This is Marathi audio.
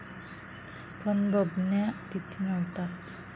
पण बबन्या तिथे न्हवताच.